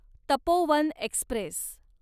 Tapovan Express